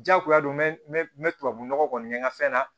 Diyagoya don n bɛ tubabu nɔgɔ kɔni kɛ n ka fɛn na